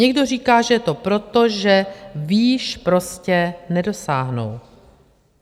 Někdo říká, že je to proto, že výš prostě nedosáhnou.